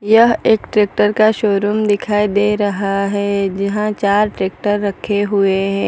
यह एक ट्रैक्टर का शोरुम दिखाई दे रहा है जहां चार ट्रैक्टर रखे हुए हैं।